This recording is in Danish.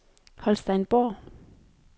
Holsteinsborg